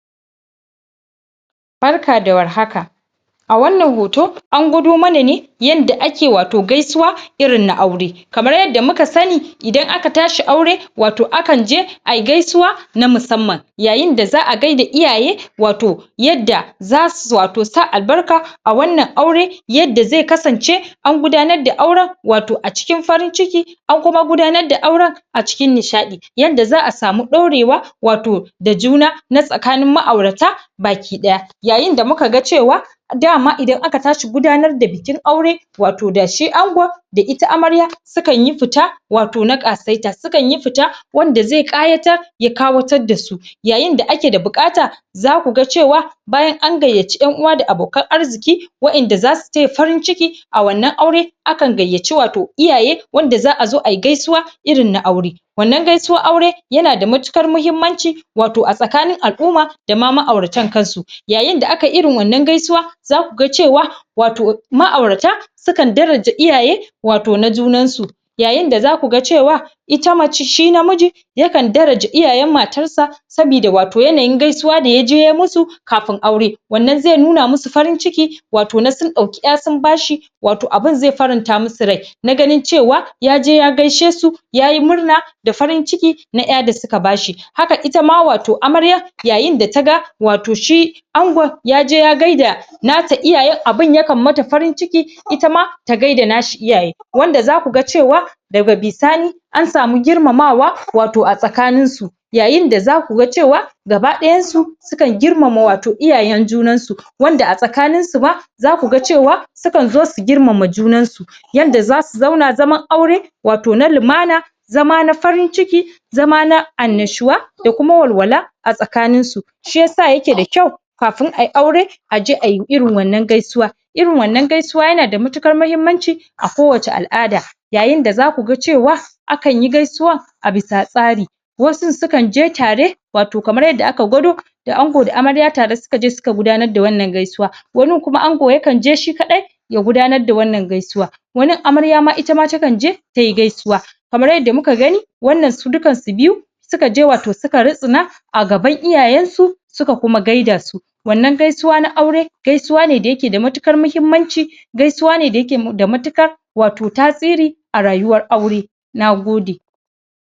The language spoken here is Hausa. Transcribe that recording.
Barka da warhaka a wannan hoto an gwado mana ne yanda ake wato gaisuwa irin na aure kamar yadda muka sani idan aka tashi aure wato akan je ai gaisuwa na musamman yayin da za'a gaida iyaye wato yadda zasu wato sa albarka a wannan aure yadda zai kasance an gudanar da auren wato a cikin farin ciki an kuma gudanar da auren a cikin nishaɗi yadda za'a samu ɗorewa wato da juna na tsakanin ma'aurata bakiɗaya yayin da muka ga cewa dama idan aka tashi gudanar da bikin aure wato da shi angon da ita amarya sukan yi fita wato na ƙasaita, sukan yi fita wanda zai ƙayatar ya ƙawatar da su yayin da ake da buƙata zaku ga cewa bayan an gayyaci ƴan'uwa da abokan arziki waƴanda zasu taya farin ciki a wannan aure a kan gayyaci wato iyaye wanda za'a zo ai gaisuwa irin na aure wannan gaisuwan aure yana da matuƙar mahimmanci wato a tsakanin al'umma dama ma'auratan kan su yayin da aka yi irin wannan gaisuwa zaku ga cewa wato ma'aurata sukan daraja iyaye wato na junan su yayin da zaku ga cewa ita mace, shi namiji yakan daraja iyayen matar sa sabida wato yanayin gaisuwa da yaje ya musu kafin aure, wannan zai nuna musu farin ciki wato na sun ɗauki ƴa sun ba shi wato abin zai faranta musu rai na ganin cewa yaje ya gaishe su yayi murna da farin cikin na ƴa da suka ba shi haka ita ma wato amarya yayin da ta ga wato shi angon yaje ya gaida na ta iyayen abin ya kan mata farin ciki ita ma ta gaida na shi iyaye wanda zaku ga cewa daga bisani an samu girmamawa wato a tsakanin su yayin da zaku ga cewa gabaɗayan su sukan girmama wato iyayen junan su wanda a tsakanin su ba zaku ga cewa sukan zo su girmama junan su yanda zasu zauna zaman aure wato na lumana zama na farin ciki zama na annashuwa da kuma walwala a tsakanin su shi yasa yake da kyau kafin ai aure a je ai irin wannan gaisuwa irin wannan gaisuwa yana da matuƙar mahimmanci a kowacce al'ada yayin da zaku ga cewa akan yi gaisuwa a bisa tsari wasu sukan je tare wato kamar yadda aka gwado da ango da amarya tare suka je suka gudanar da wannan gaisuwa wanin kuma ango yakan je shi kaɗai ya gudanar da wannan gaisuwa wanin amarya ma ita ma takan je tai gaisuwa kamar yadda muka gani wannan su dukkan su biyu suka je wato suka rissina a gaban iyayen su suka kuma gaida su wannan gaisuwa na aure gaisuwa ne da yake da matuƙar mahimmanci gaisuwa ne da yake da matuƙar wato tasiri a rayuwar aure na gode.